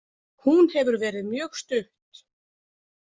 Hún hefur verið mjög stutt.